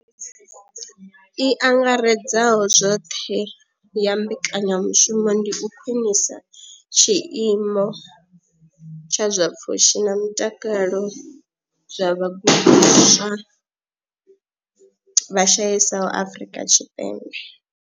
I angaredzaho zwoṱhe ya mbekanya mushumo ndi u khwinisa tshiimo tsha zwa pfushi na mutakalo zwa vhagudiswa vha shayesaho Afrika Tshipembe.